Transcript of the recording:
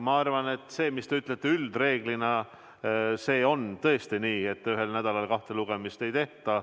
Ma arvan, et see, mis te ütlete, üldreeglina on tõesti nii: ühel nädalal kahte lugemist ei tehta.